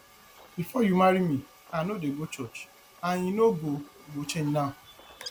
before you marry me i no dey go church and e no go go change now